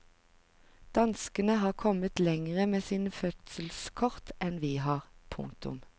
Danskene har kommet lengre med sin fødselskort enn vi har. punktum